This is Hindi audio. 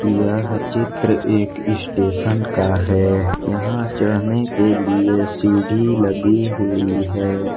यह चित्र एक स्टेशन का है यहां चढ़ने के लिए सीढ़ी लगी हुई है।